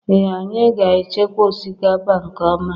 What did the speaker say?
Ee Anyị ga-echekwa osikapa nke ọma.